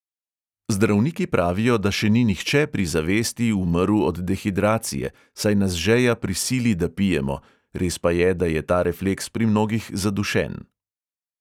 Zdravniki pravijo, da še ni nihče pri zavesti umrl od dehidracije, saj nas žeja prisili, da pijemo, res pa je, da je ta refleks pri mnogih zadušen.